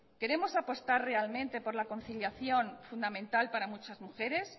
queremos apostar realmente por la conciliación fundamental para muchas mujeres